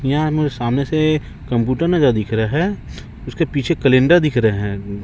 यहां मुझे सामने से कंप्यूटर नाजा दिख रहा है उसके पीछे कैलेंडर दिख रहे हैं।